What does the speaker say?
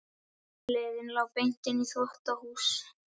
Leiðin lá beint inn í þvottahús.